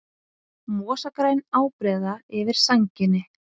Mosagræn ábreiða yfir sænginni.